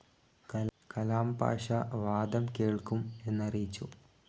കലാംപാഷ വാദം കേൾക്കും എന്നറിയിച്ചു.